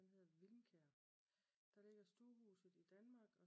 Den hedder Vilmkær. Der ligger stuehuset i Danmark